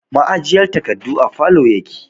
Ma'ajiyar takardu a falow yake